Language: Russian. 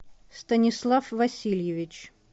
станислав васильевич